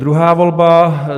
Druhá volba.